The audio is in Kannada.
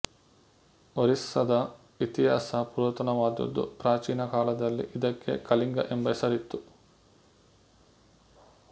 ಒರಿಸ್ಸದ ಇತಿಹಾಸ ಪುರಾತನವಾದದ್ದು ಪ್ರಾಚೀನ ಕಾಲದಲ್ಲಿ ಇದಕ್ಕೆ ಕಳಿಂಗ ಎಂಬ ಹೆಸರಿತ್ತು